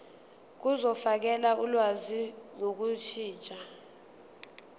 zokufakela ulwazi ngokushintsha